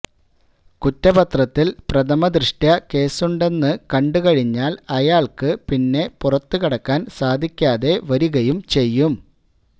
കുറ്റപത്രത്തില് പ്രഥമദൃഷ്ട്യാ കേസുണ്ടെന്ന് കണ്ട് കഴിഞ്ഞാല് അയാള്ക്ക് പിന്നെ പുറത്തുകടക്കാന് സാധിക്കാതെ വരികയും ചെയ്യും